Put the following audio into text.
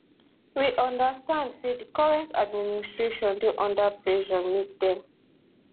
we understand say di current administration dey under pressure make dem